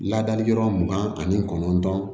Ladali yɔrɔ mugan ani kɔnɔntɔn